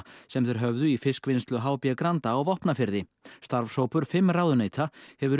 sem þeir höfðu í fiskvinnslu h b Granda á Vopnafirði starfshópur fimm ráðuneyta hefur